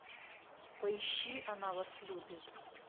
поищи она вас любит